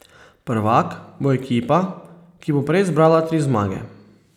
Prvak bo ekipa, ki bo prej zbrala tri zmage.